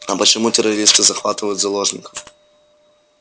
а почему террористы захватывают заложников